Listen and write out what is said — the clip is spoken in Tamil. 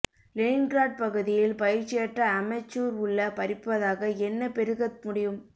லெனின்கிராட் பகுதியில் பயிற்சியற்ற அமெச்சூர் உள்ள பறிப்பதாக என்ன பெருகத் முடியும்